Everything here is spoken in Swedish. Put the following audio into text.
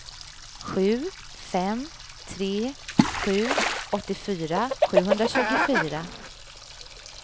sju fem tre sju åttiofyra sjuhundratjugofyra